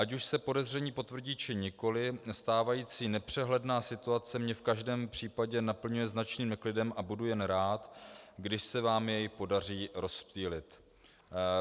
Ať už se podezření potvrdí, či nikoli, stávající nepřehledná situace mě v každém případě naplňuje značným neklidem a budu jen rád, když se vám jej podaří rozptýlit.